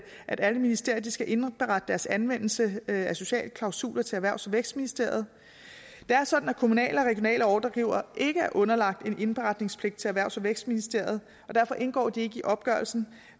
at alle ministerier skal indberette deres anvendelse af sociale klausuler til erhvervs og vækstministeriet det er sådan at kommunale og regionale ordregivere ikke er underlagt en indberetnings til erhvervs og vækstministeriet og derfor indgår de ikke i opgørelsen